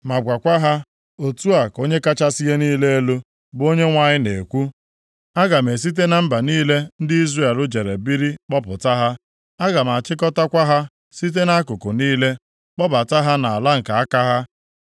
ma gwakwa ha, ‘Otu a ka Onye kachasị ihe niile elu, bụ Onyenwe anyị na-ekwu: Aga m esite na mba niile ndị Izrel jere biri kpọpụta ha. Aga m achịkọtakwa ha site nʼakụkụ niile, kpọbata ha nʼala nke aka ha.